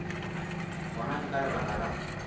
gona ke ka lebaka la